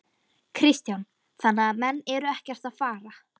Kristján: Þannig að menn eru ekkert að fara?